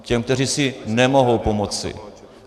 Těm, kteří si nemohou pomoci.